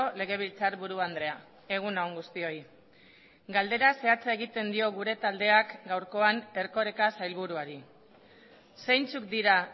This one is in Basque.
legebiltzarburu andrea egun on guztioi galdera zehatza egiten dio gure taldeak gaurkoan erkoreka sailburuari zeintzuk dira